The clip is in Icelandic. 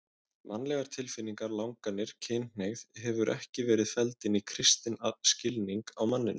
Mannlegar tilfinningar, langanir, kynhneigð hefur ekki verið felld inn í kristinn skilning á manninum.